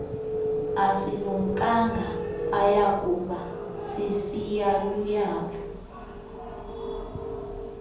asilumkanga ayakuba sisiyaluyalu